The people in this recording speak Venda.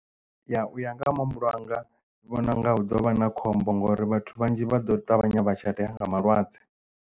Ya u ya nga ha muhumbulo wanga ndi vhona u nga hu ḓo vha na khombo ngori vhathu vhanzhi vha ḓo ṱavhanya vha shatea nga malwadze.